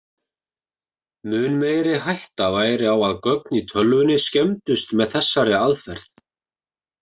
Mun meiri hætta væri á að gögn í tölvunni skemmdust með þessari aðferð.